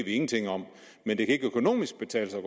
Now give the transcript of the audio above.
ingenting om men det kan ikke økonomisk betale sig